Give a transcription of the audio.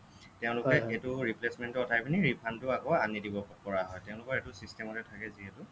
তেওঁলোকে এইটো replacement টো অতৰাই পিনি refund টো আকৌ আনি দিব পৰা হ'য় তেওঁলোকৰ এইটো system অতে থাকে যিহেতু